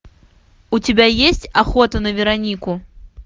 у тебя есть охота на веронику